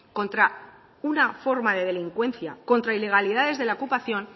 contra una forma de delincuencia contra ilegalidades de la ocupación